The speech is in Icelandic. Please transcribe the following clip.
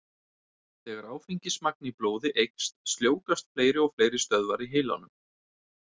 Þegar áfengismagn í blóði eykst, sljóvgast fleiri og fleiri stöðvar í heilanum.